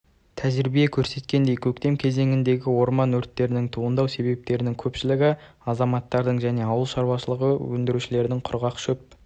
тәжірибе көрсеткендей көктем кезеңіндегі орман өрттерінің туындау себептерінің көпшілігі азаматтардың және ауыл шаруашылығы өндірушілерінің құрғақ шөп